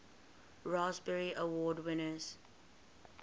raspberry award winners